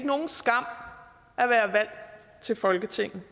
nogen skam at være valgt til folketinget